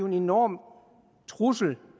en enorm trussel